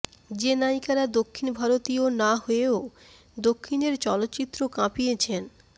যে নায়িকারা দক্ষিণ ভারতীয় না হয়েও দক্ষিণের চলচ্চিত্র কাঁপিয়েছেন